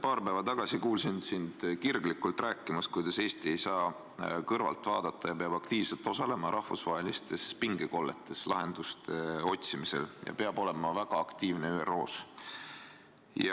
Paar päeva tagasi kuulsin sind kirglikult rääkimas, kuidas Eesti ei saa kõrvalt vaadata, vaid peab aktiivselt osalema rahvusvahelistes pingekolletes lahenduste otsimisel ja peab olema väga aktiivne ÜRO-s.